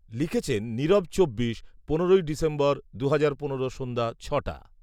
লিখেছেন নীরব চব্বিশ, পনেরোই ডিসেম্বর, দুহাজার পনেরো সন্ধ্যা ছটা